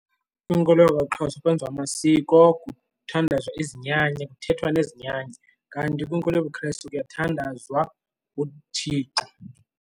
Kwinkolo yakwaXhosa kwenziwa amasiko kuthandazwa izinyanya kuthethwa nezinyanya kanti kwinkolo yobuKristu kuyathandazwa uThixo.